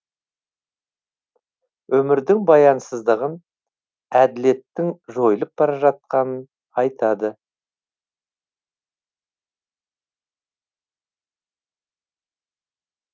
өмірдің баянсыздығын әділеттің жойылып бара жатқанын айтады